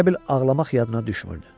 Elə bil ağlamaq yadına düşmürdü.